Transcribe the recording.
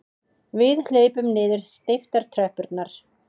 Við hlaupum niður steyptar tröppurnar.